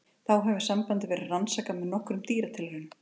Þá hefur sambandið verið rannsakað nokkuð með dýratilraunum.